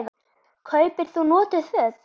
Kaupir þú notuð föt?